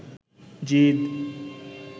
জিদ